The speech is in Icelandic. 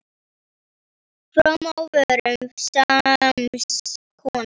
Form á vörum sams konar.